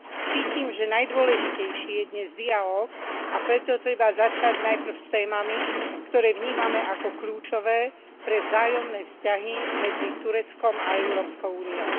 Cítim, že najdôležitejší je dnes dialóg, a preto treba začať najprv s témami, ktoré vnímame ako kľúčové pre vzájomné vzťahy medzi Tureckom a Európskou úniou.